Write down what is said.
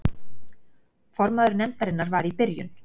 Formaður nefndarinnar var í byrjun